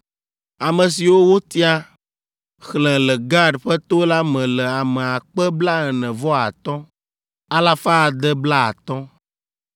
Ame siwo wotia, xlẽ le Gad ƒe to la me le ame akpe blaene-vɔ-atɔ̃ (45,650), alafa ade blaatɔ̃.